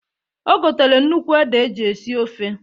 O gotere nnukwu ede eji esi ofe.